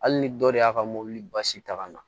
Hali ni dɔ de y'a ka mobili basi ta ka na